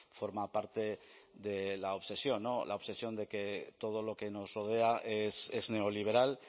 forma parte de la obsesión la obsesión de que todo lo que nos rodea es neoliberal